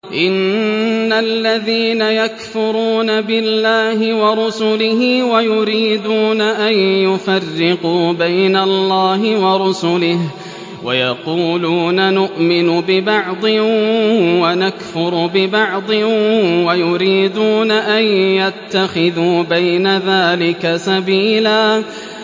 إِنَّ الَّذِينَ يَكْفُرُونَ بِاللَّهِ وَرُسُلِهِ وَيُرِيدُونَ أَن يُفَرِّقُوا بَيْنَ اللَّهِ وَرُسُلِهِ وَيَقُولُونَ نُؤْمِنُ بِبَعْضٍ وَنَكْفُرُ بِبَعْضٍ وَيُرِيدُونَ أَن يَتَّخِذُوا بَيْنَ ذَٰلِكَ سَبِيلًا